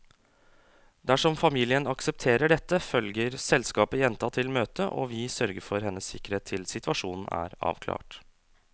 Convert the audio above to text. Dersom familien aksepterer dette, følger selskapet jenta til møtet, og vi sørger for hennes sikkerhet til situasjonen er avklart.